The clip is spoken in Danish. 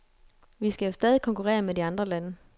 Vi skal jo stadig konkurrere med de andre lande.